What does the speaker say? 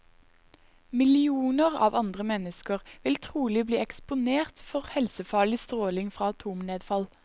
Millioner av andre mennesker vil trolig bli eksponert for helsefarlig stråling fra atomnedfall.